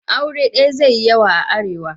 Aure daya zai yi yawa a Arewa.